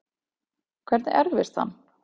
Hvernig erfist hann?